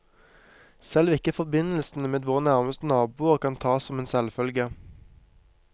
Selv ikke forbindelsene med våre nærmeste naboer kan tas som en selvfølge.